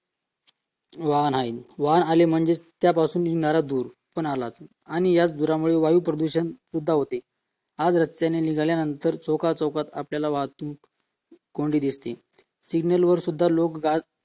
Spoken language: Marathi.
वाहन आहे वाहन आले म्हणजे त्यापासून निघणारा धूर दूर पण आलाच आणि या धुरापासून वायू प्रदूषण सुद्धा होते हा रस्त्याने निघाल्यानंतर चौका~चौकात आपल्याला वाहतूक कोंडी दिसते सिग्नल वर सुद्धा लोक आज